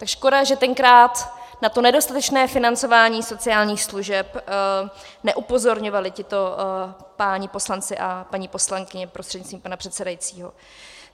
Tak škoda, že tenkrát na to nedostatečné financování sociálních služeb neupozorňovali tito páni poslanci a paní poslankyně prostřednictvím pana předsedajícího.